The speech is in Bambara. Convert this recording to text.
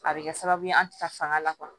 A bɛ kɛ sababu ye an tɛ taa fanga la